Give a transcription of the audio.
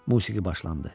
Musiqi başlandı.